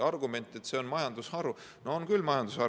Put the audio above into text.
Argument, et see on majandusharu – no on küll majandusharu.